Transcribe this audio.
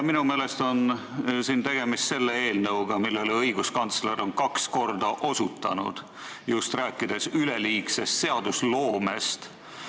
Minu meelest on praegu tegemist sellise eelnõuga, millele õiguskantsler on kaks korda osutanud, rääkides üleliigsest seadusloomest.